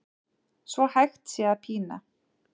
svo hægt sé að pína